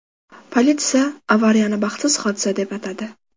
Politsiya avariyani baxtsiz hodisa deb atadi.